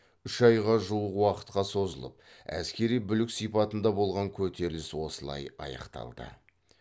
үш айға жуық уақытқа созылып әскери бүлік сипатында болған көтеріліс осылай аяқталды